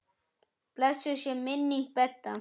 Blessuð sé minning Bedda.